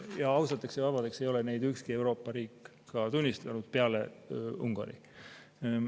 Ja ausateks ja vabadeks ei ole neid tunnistanud ükski Euroopa riik peale Ungari.